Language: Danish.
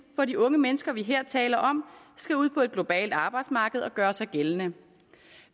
for de unge mennesker vi her taler om skal ud på et globalt arbejdsmarked og gøre sig gældende